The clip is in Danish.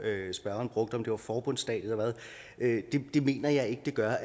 spørgeren brugte om det var forbundsstat eller hvad det mener jeg ikke det gør